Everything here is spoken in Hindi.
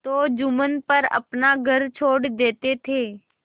तो जुम्मन पर अपना घर छोड़ देते थे